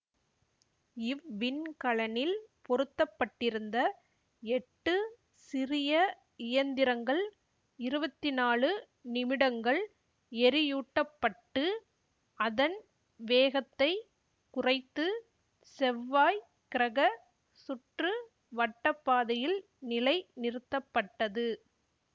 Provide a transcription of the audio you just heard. இவ்விண்கலனில் பொருத்தப்பட்டிருந்த எட்டு சிறிய இயந்திரங்கள் இருவத்தி நாலு நிமிடங்கள் எரியூட்டப்பட்டு அதன் வேகத்தை குறைத்து செவ்வாய் கிரக சுற்று வட்டப்பாதையில் நிலை நிறுத்தப்பட்டது